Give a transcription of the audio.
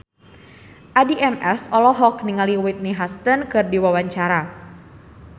Addie MS olohok ningali Whitney Houston keur diwawancara